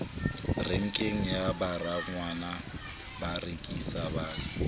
renkeng ya baragwanath barekisi ba